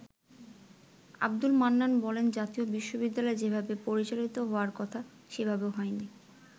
আব্দুল মান্নান বলেন, “জাতীয় বিশ্ববিদ্যালয় যেভাবে পরিচালিত হওয়ার কথা সেভাবে হয়নি।